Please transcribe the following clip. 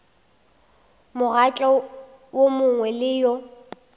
mokgatlo wo mongwe le wo